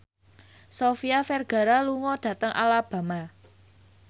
Sofia Vergara lunga dhateng Alabama